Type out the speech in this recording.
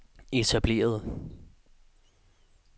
etablerede